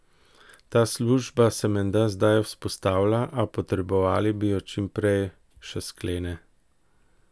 Ta služba se menda zdaj vzpostavlja, a potrebovali bi jo čim prej, še sklene.